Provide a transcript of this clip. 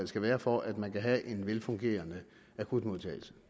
skal være for at man kan have en velfungerende akutmodtagelse